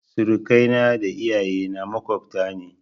Surakai na da iyaye na maƙwabta ne